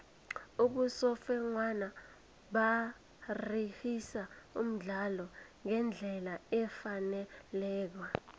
abosofengwana baragisa umdlalo ngendlela efaneleko